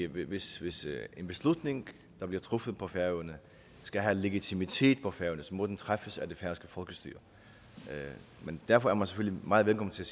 hvis en beslutning der bliver truffet på færøerne skal have legitimitet på færøerne så må den træffes af det færøske folkestyre men derfor er man selvfølgelig meget velkommen til